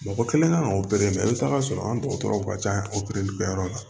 Mɔgɔ kelen kan ka i bi taa sɔrɔ an dɔgɔtɔrɔw ka ca kɛyɔrɔ la